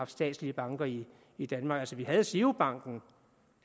statslige banker i i danmark vi havde girobank